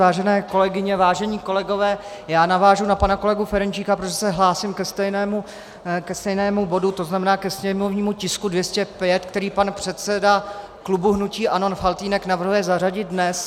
Vážené kolegyně, vážení kolegové, já navážu na pana kolegu Ferjenčíka, protože se hlásím ke stejnému bodu, to znamená ke sněmovnímu tisku 205, který pan předseda klubu hnutí ANO Faltýnek navrhuje zařadit dnes.